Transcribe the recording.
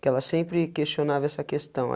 Que ela sempre questionava essa questão.